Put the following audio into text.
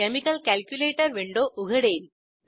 chemical calculator window उघडेल